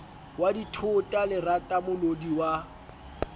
wa dithota lerata molodi wa